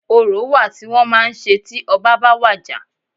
Orò wa tí wọ́n màá ń ṣe tí ọbá ba wàjà.